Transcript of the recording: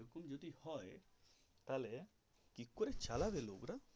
এই রকম যদি হয় তাহলে কি করে চালাবে লোকরা.